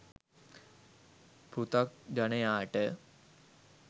පෘථග්ජනයාට